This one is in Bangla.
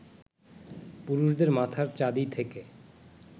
পুরুষদের মাথার চাঁদি থেকে